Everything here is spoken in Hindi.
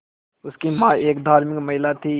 उनकी मां एक धार्मिक महिला थीं